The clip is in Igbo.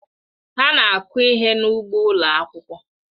Ha na-akụ ihe n'ugbo ụlọ akwụkwọ.